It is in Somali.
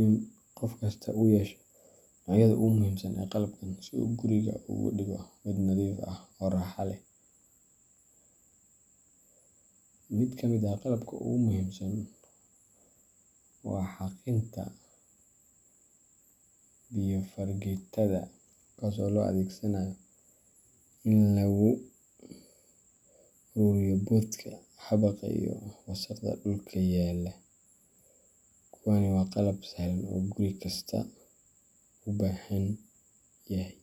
in qof kasta uu yeesho noocyada ugu muhiimsan ee qalabkan si uu guriga uga dhigo mid nadiif ah oo raaxo leh. Mid ka mid ah qalabka ugu muhiimsan waa xaaqinta biyo fargeetada , kuwaas oo loo adeegsado in lagu ururiyo boodhka, xabagaha, iyo wasakhda dhulka yaalla. Kuwaani waa qalab sahlan oo guriga kasta uu u baahan yahay.